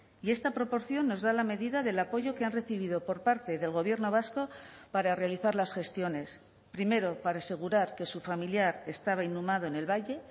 y esta proporción nos da la medida del apoyo que han recibido por parte del gobierno vasco para realizar las gestiones primero para asegurar que su familiar estaba inhumado en el valle